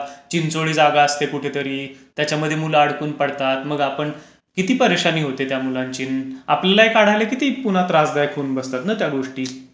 चिंचोळी जागा असते कुठेतरी, त्याच्यामध्ये मुलं अडकून पडतात, मग आपण किती परेशानी होते त्या मुलांची. आपल्यालाही काढायला पुन्हा किती त्रासदायक होऊन बसते ना त्या गोष्टी.